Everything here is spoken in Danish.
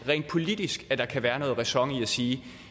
rent politisk kan være noget ræson i at sige